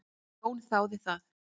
Jón þáði það.